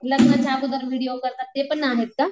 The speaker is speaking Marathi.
लग्नाच्या अगोदर विडिओ करतात ते पण आहेत का?